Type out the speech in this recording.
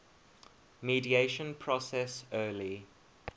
mediation process early